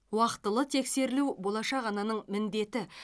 уақтылы тексерілу болашақ ананың міндеті